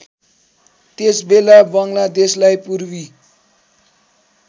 त्यसबेला बङ्गलादेशलाई पूर्वी